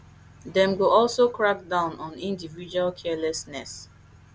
dem go also crack down on individual carelessness